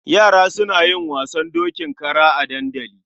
Yara suna yin wasan dokin kara a dandali.